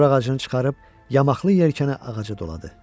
Dorağacını çıxarıb yamaqlı yelkəni ağaca doladı.